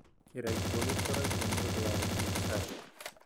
Kĩraikũ gĩkũragio nĩ ũndũ wa biacara.